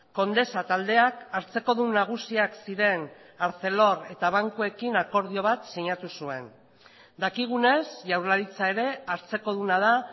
condesa taldeak hartzekodun nagusiak ziren arcelor eta bankuekin akordio bat sinatu zuen dakigunez jaurlaritza ere hartzekoduna da